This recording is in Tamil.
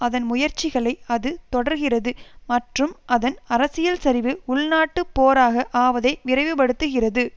அதன் முயற்சிகளை அது தொடர்கிறது மற்றும் அதன் அரசியல் சரிவு உள்நாட்டுப் போராக ஆவதை விரைவுபடுத்துகிறது